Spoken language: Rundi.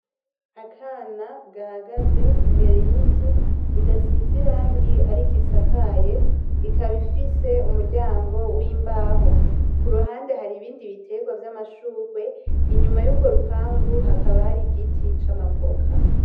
Akana gahagaze imbere y'inzu idasize irangi ariko isakaye, ikaba ifise umuryango w'imbaho, kuruhande har'bindi biterwa vy'amashurwe, inyuma y'urwo rupangu hakaba har' igiti c'amavoka